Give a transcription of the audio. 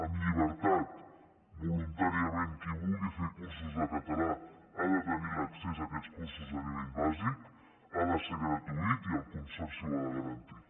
amb llibertat voluntàriament qui vulgui fer cursos de català ha de tenir l’accés a aquests cursos de nivell bàsic ha de ser gratuït i el consorci ho ha de garantir